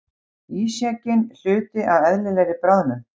Ísjakinn hluti af eðlilegri bráðnun